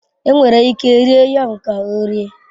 Enwere ike rie yam ka ọ rie.